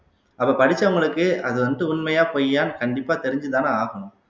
அப்ப படிச்சவங்களுக்கு அது வந்துட்டு உண்மையா பொய்யான்னு கண்டிப்பா தெரிஞ்சுதான ஆகணும்